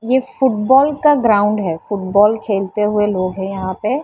ये फुटबॉल का ग्राउंड है फुटबॉल खेलते हुए लोग हैं यहाँ पे --